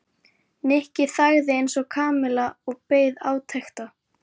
Nikki þagði eins og Kamilla og beið átekta.